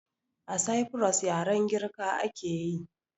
A saifuros yaren girka akeyi